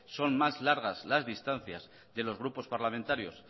son más largas las distancias de los grupos parlamentarios